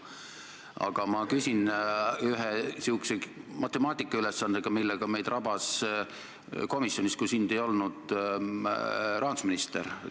Aga ma küsin ühe matemaatikatehte kohta, millega meid rabas komisjonis, kui sind kohal ei olnud, rahandusminister.